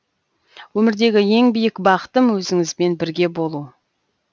өмірдегі ең биік бақытым өзіңізбен бірге болу